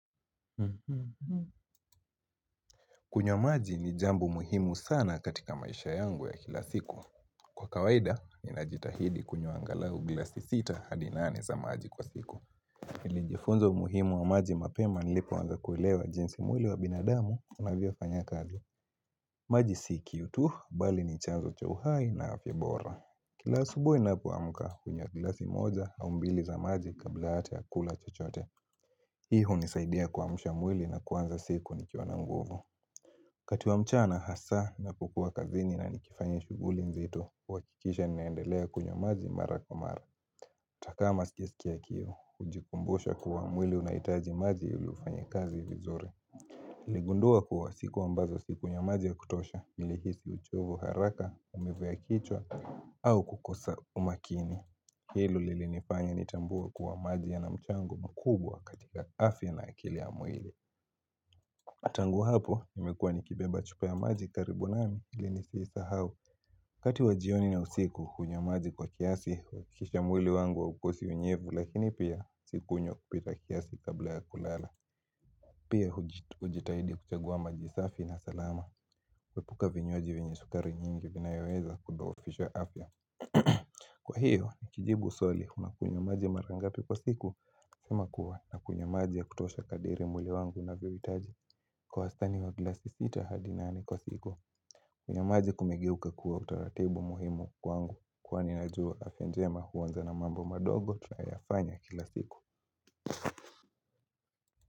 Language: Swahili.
Kunywa maji ni jambo muhimu sana katika maisha yangu ya kila siku. Kwa kawaida, ni najitahidi kunywa angalahu glasi sita hadinane za maji kwa siku. Nilinjifunza muhimu wa maji mapema nilipo wanza kuilewa jinsi mwili wa binadamu na vio fanya kazi. Maji si kiu tu, bali ni chanzo cha hai na afya bora. Kila asubui ninaamka unywa glasi moja, au mbili za maji kabla hata kukula chochote. Hii unizaidia kuamsha mwili na kwanza siku nikiwa na nguvu. Wakati wa mchana hasa ninapokuwa kazini na nikifanya shughuli nzito uhakikisha ni naendelea kunyo maji mara kwa mara. Takama sikisiki ya kiu, ujikumbusha kuwa mwili unaitaji maji ili ufanye kazi vizuri. Niligundua kuwa siku ambazo siku ya maji ya kutosha, ilihisi uchovu haraka, umivu ya kichwa, au kukosa umakini. Hilo lilinifanya nitambue kuwa maji yana mchango mkubwa katika afya na akili ya mwili. Na tangu hapo, nimekuwa ni kibeba chupa ya maji karibu nami ili nisihisahau. Wakati wajioni na usiku, unywa maji kwa kiasi, kisha mwili wangu wa haukosi unyevu Lakini pia, siku unyo kupita kiasi kabla ya kulala Pia, ujitahidi kuchagua majisafi na salama epuka vinywaji venye sukari nyingi vinaeweza kudhoofishwa afya Kwa hiyo, kijibu swali, unakunyamaji marangapi kwa siku sema kuwa, unakunyamaji ya kutosha kadiri mwili wangu na viwitaji Kwa astani wa glasi sita hadi nane kwa siku kunywa maji kumeguka kuwa utaratibu muhimu kwangu Kwa ninajua afya jema huwanza na mambo madogo tunayafanya kila siku.